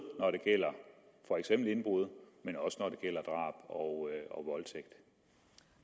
når det gælder for eksempel indbrud og